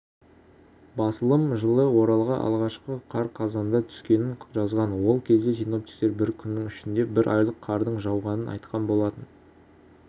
басылым жылы оралға алғашқы қар қазанда түскенін жазған ол кезде синоптиктер бір күннің ішінде бір айлық қардың жауғанын айтқан болатын